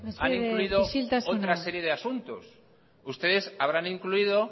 han incluido otra serie de asuntos ustedes habrán incluido